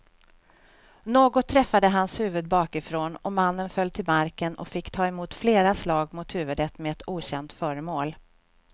Något träffade hans huvud bakifrån och mannen föll till marken och fick ta emot flera slag mot huvudet med ett okänt föremål.